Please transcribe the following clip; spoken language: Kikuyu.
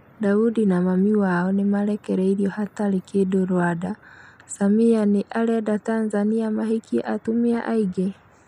Daudi na mami wao nĩmarekereirio hatarĩ kĩndũRwanda, Samia nĩ arenda Tanzania mahikie atumia aingĩ?